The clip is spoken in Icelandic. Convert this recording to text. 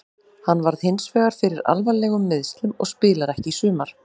Hann varð hinsvegar fyrir alvarlegum meiðslum og spilar ekki í sumar.